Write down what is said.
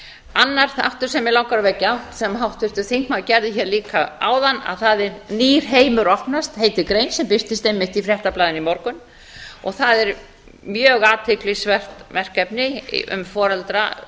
annar þáttur sem mig langar að vekja athygli á sem háttvirtur þingmaður gerði hér áðan það er nýr heimur opnast heitir grein sem birtist einmitt í fréttablaðinu í morgun það er mjög athyglisvert verkefni um